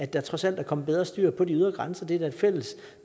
der trods alt er kommet bedre styr på de ydre grænser det er da et fælles